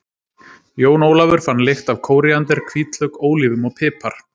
Jón Ólafur fann lykt af kóríander, hvítlauk, ólívum og pipar.